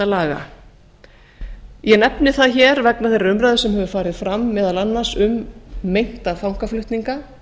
mannréttindalaga ég nefni það hér vegna þeirra umræðu sem hefur farið fram meðal annars um meinta fangaflutninga